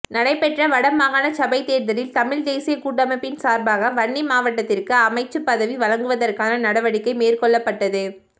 நடைபெற்ற வடமாகாண சபை தேர்தலில் தமிழ் தேசியக் கூட்டமைப்பின் சார்பாக வன்னி மாவட்டத்திற்கு அமைச்சுப்பதவி வழங்குவதற்கான நடவடிக்கை மேற்கொள்ளப்பட்டது